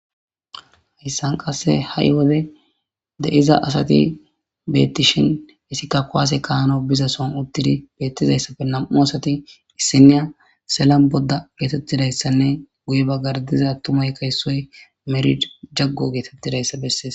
hayssan qasse ha7i wode de7iza asati beettishin isika kowaase kaano biza son uttidi beettizayssappe nam7u asati issiniya sellan bodda geetettidayssanne guye baggardiza attumay kayssoy merid jaggo geetettidayssa bessees